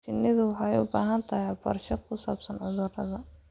Shinnidu waxay u baahan tahay waxbarasho ku saabsan cudurrada.